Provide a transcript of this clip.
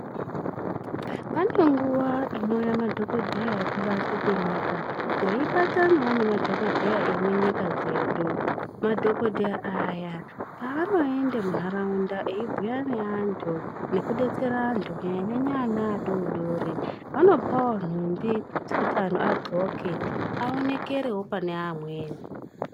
Pane nguwa inouya madhokodheya emunyika veibatanawo nemadhokodheya emunyika dzedu madhokodheya aya panoenda mundaraunda medu eibhiira neantu nekudetsera antu kunyanyanyanya ana adodori vanopawo nhumbi dzekuti antu agonhle aonekerewo pane amweni.